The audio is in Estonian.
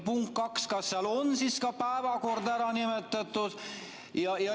Punkt kaks, kas seal on siis ka päevakorda ära nimetatud?